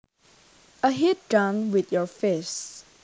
A hit done with your fist